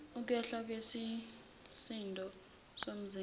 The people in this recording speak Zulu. ukwehla kwesisindo somzimba